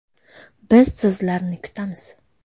Biz sizlarni kutamiz!